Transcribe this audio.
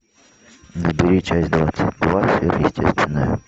набери часть двадцать два сверхъестественное